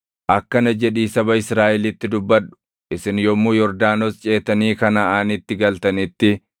“Akkana jedhii saba Israaʼelitti dubbadhu; ‘Isin yommuu Yordaanos ceetanii Kanaʼaanitti galtanitti,